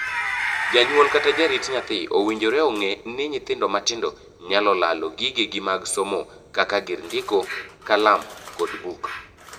Jonyuol kata jarit nyathi owinjore ong'ee ni nyithindo matindo nyal lalo gigegi mag somo kaka gir ndiko (kalam) kod buk.